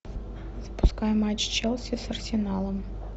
запускай матч челси с арсеналом